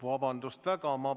Vabandust väga!